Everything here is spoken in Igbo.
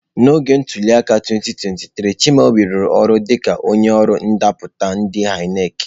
N'oge ntuli aka 2023, Chimaobi rụrụ ọrụ dịka onye ọrụ ndapụta ndi ineki.